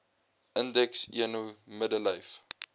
indeks eno middellyf